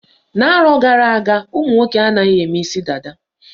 Na-arọ gara-aga ụmụnwoke anaghị eme isi dada.